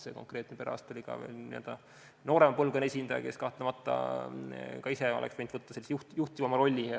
See konkreetne perearst oli noorema põlvkonna esindaja, kes kahtlemata oleks ise võinud võtta sellise juhtivama rolli.